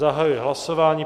Zahajuji hlasování.